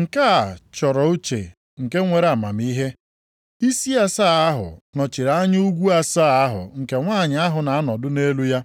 “Nke a chọrọ uche nke nwere amamihe. Isi asaa ahụ nọchiri anya ugwu asaa ahụ nke nwanyị ahụ na-anọdụ nʼelu ha.